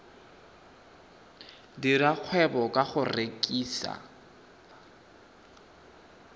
dira kgwebo ka go rekisa